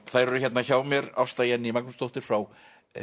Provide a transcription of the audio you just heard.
þær eru hérna hjá mér Ásta Jenný Magnúsdóttir frá